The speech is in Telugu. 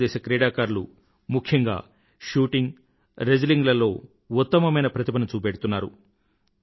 భారత దేశ క్రీడాకారులు ముఖ్యంగా షూటింగ్ రెస్లింగ్ లలో ఉత్తమమైన ప్రతిభను చూపెడుతున్నారు